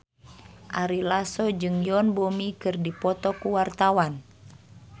Ari Lasso jeung Yoon Bomi keur dipoto ku wartawan